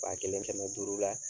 Ba kelen kɛmɛ duuru la